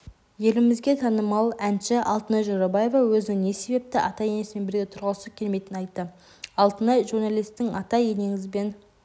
елімізге танымал әнші алтынай жорабаева өзінің не себепті ата-енесімен бірге тұрғысы келмейтінін айтты алтынай журналистің ата-енеңізбен